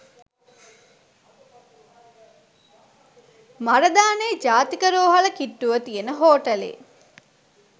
මරදානේ ජාතික රෝහල කිට්‌ටුව තියෙන හෝටලේ